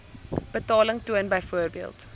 betaling toon byvoorbeeld